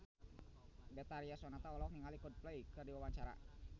Betharia Sonata olohok ningali Coldplay keur diwawancara